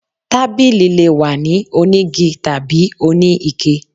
Tábilí lé wà ní onígí tabí oní iké